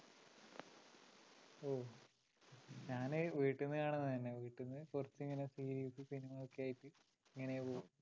ഞാന് വീട്ടീന്ന് കാണുന്നത് തന്നെ. വീട്ടീന്ന് കൊറച്ചു ഇങ്ങനെ series ഉം cinema യൊക്കെയായിട്ട് ഇങ്ങനെ പോവും.